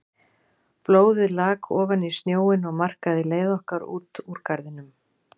Blóðið lak ofan í snjóinn og markaði leið okkar út úr garðinum.